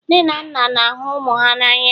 nne na nna na-ahụ ụmụ ha n'anya